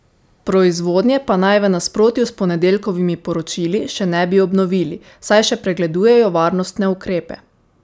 Proizvodnje pa naj v nasprotju s ponedeljkovimi poročili še ne bi obnovili, saj še pregledujejo varnostne ukrepe.